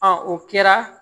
o kɛra